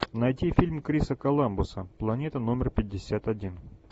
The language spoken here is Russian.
найти фильм криса коламбуса планета номер пятьдесят один